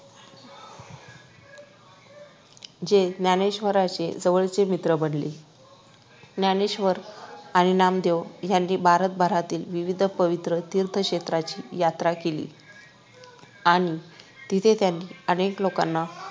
जे ज्ञानेश्वरांचे जवळचे मित्र बानले ज्ञानेश्वर आणि नामदेव यांनी भारतभरातील विविध पवित्र तीर्थक्षेत्रांची यात्रा केली आणि तिथे त्यांनी अनेक लोकांना